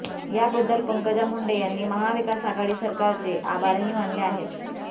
याबद्दल पंकजा मुंडे यांनी महाविकास आघाडी सरकारचे आभारही मानले आहेत